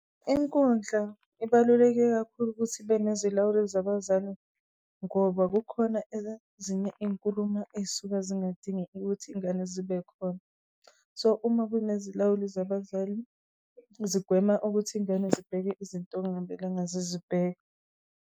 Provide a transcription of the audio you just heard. Inkundla ibaluleke kakhulu ukuthi ibe nezilawuli zabazali, ngoba kukhona ezinye inkulumo ey'suka zingadingi ukuthi ingane zibe khona. So uma kunezilawuli zabazali, zigwema ukuthi ingane zibheke izinto okungamelanga zizibheke.